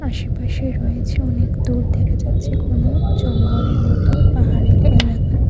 আশেপাশে রয়েছে অনেক দূর দেখা যাচ্ছে ঘন জঙ্গলের মত পাহাড়ি একটা এলাকা।